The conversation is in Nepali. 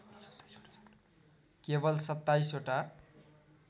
केवल २७ वटा